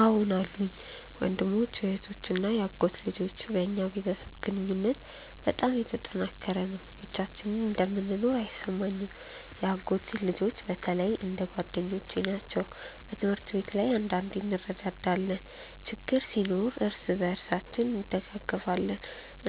አዎን አሉኝ፤ ወንድሞች፣ እህቶች እና የአጎት ልጆች። በእኛ ቤተሰብ ግንኙነት በጣም የተጠናከረ ነው፣ ብቻችንን እንደምንኖር አይሰማንም። የአጎት ልጆቼ በተለይ እንደ ጓደኞቼ ናቸው። በትምህርት ላይ አንዳንዴ እንረዳዳለን፣ ችግር ሲኖር እርስ በርሳችን እንደግፋለን፣